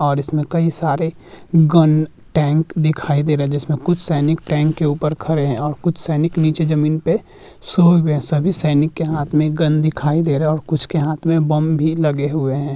और इसमें कई सारे गन टैंक दिखाई दे रहे है। जिसमें कुछ सैनिक टैंक के ऊपर खरे हैं और कुछ सैनिक नीचे जमीन पे सो गए हैं। सभी सैनिक के हाथ में गन दिखाई दे रहा है और कुछ के हाथ में बम भी लगे हुए है।